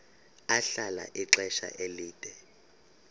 ahlala ixesha elide